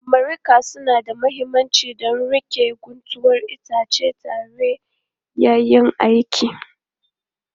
Mariƙa suna da mahimmanci don riƙe guntuwar itace tare yayin aiki